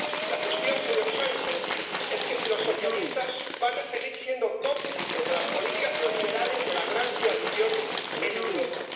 La cuestión, señor Sánchez, es si los socialistas van a seguir siendo cómplices de las políticas neoliberales de la gran coalición en Europa.